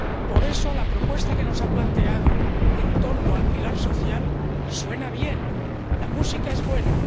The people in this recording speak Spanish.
Por eso, la propuesta que nos ha planteado en torno al pilar social suena bien, la música es buena.